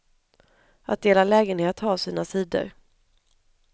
Att dela lägenhet har sina sidor.